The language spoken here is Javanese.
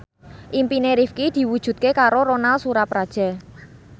impine Rifqi diwujudke karo Ronal Surapradja